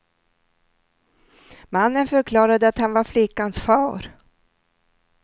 Mannen förklarade att han var flickans far.